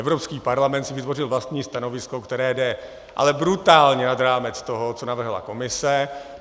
Evropský parlament si vytvořil vlastní stanovisko, které jde ale brutálně nad rámec toho, co navrhla Komise.